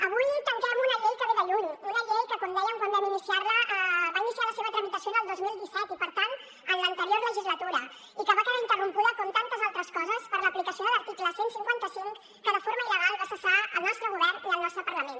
avui tanquem una llei que ve de lluny una llei que com dèiem quan vam iniciar la va iniciar la seva tramitació al dos mil disset i per tant en l’anterior legislatura i que va quedar interrompuda com tantes altres coses per l’aplicació de l’article cent i cinquanta cinc que de forma illegal va cessar el nostre govern i el nostre parlament